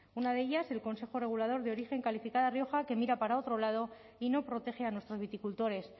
una de ellas el consejo regulador de origen calificada rioja que mira para otro lado y no protege a nuestros viticultores